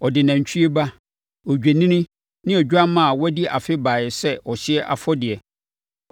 Ɔde nantwie ba, odwennini ne odwammaa a wadi afe baeɛ sɛ ɔhyeɛ afɔdeɛ,